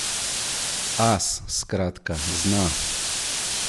As, skratka, zna!